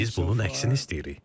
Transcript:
Biz bunun əksini istəyirik.